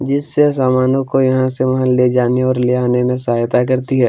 जिससे सामानों को यहाँ से वहाँ ले जाने और ले आने में सहायता करती है।